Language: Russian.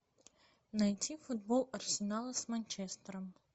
найти футбол арсенала с манчестером